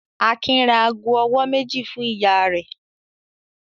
Akin ra ago-ọwọ́ méjì fún ìyá rẹ̀?